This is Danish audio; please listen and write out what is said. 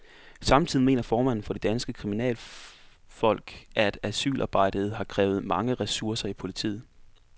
Samtidig mener formanden for de danske kriminalfolk, at asylarbejdet har krævet mange ressourcer i politiet.